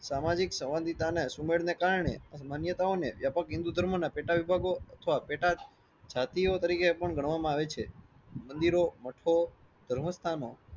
સામાજિક સુમેળને કારણે અમાન્યાતાઓને વ્યાપક હિન્દૂ ધર્મોના પેટા વિભાગો અથવા પેટ જાતિઓ તરીકે પણ ગણવામાં આવે છે. મંદિરો મઠો ધર્મ સ્થાનો